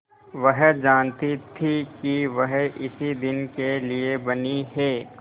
वह जानती थी कि वह इसी दिन के लिए बनी है